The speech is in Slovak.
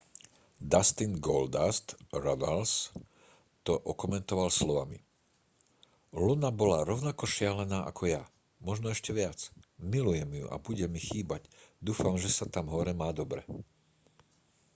dustin goldust runnels to okomentoval slovami luna bola rovnako šialená ako ja možno ešte viac milujem ju a bude mi chýbať dúfam že sa tam hore má dobre